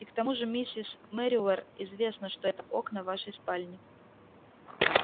и к тому же миссис мерриуэр известно что это окна вашей спальни